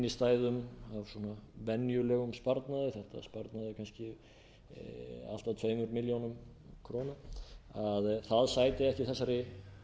innstæðum á venjulegum sparnaði sparnaði kannski allt að tveimur milljónum króna að það sæti ekki þessari